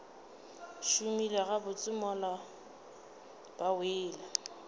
šomile gabotse mola ba wele